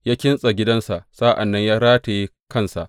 Ya kintsa gidansa sa’an nan ya rataye kansa.